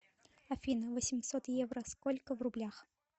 афина восемьсот евро сколько в рублях